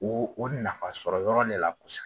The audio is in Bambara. O o nafasɔrɔ yɔrɔ de la kosɛbɛ.